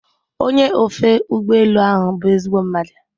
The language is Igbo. Onye ofe ụgbọ elu ahụ bụ ezigbo mmadụ